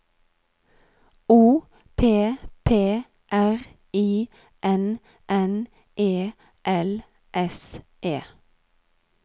O P P R I N N E L S E